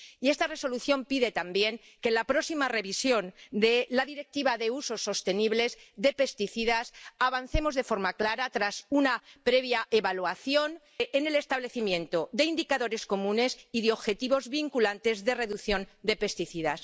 Y esta Resolución pide también que en la próxima revisión de la Directiva sobre un uso sostenible de los plaguicidas avancemos de forma clara tras una previa evaluación en el establecimiento de indicadores comunes y de objetivos vinculantes de reducción de los plaguicidas.